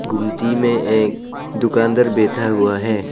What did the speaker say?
गुमती में एक दुकानदार बैठा हुआ है।